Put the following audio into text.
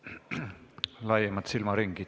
See nõuab laiemat silmaringi.